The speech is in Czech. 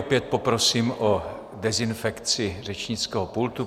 Opět poprosím o dezinfekci řečnického pultu.